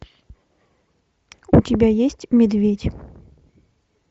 у тебя есть медведь